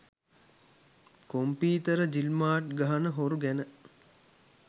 computer ජිල්මාට් ගහන හොරු ගැන